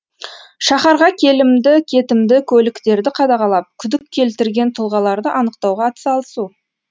шаһарға келімді кетімді көліктерді қадағалап күдік келтірген тұлғаларды анықтауға атсалысу